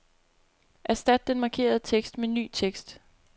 Erstat den markerede tekst med ny tekst.